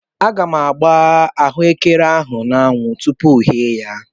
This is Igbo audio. Aga m agba ahụekere ahụ n'anwụ tupu yee ya.